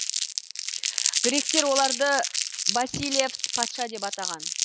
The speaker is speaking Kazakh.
гректер оларды басилевс патша деп атаған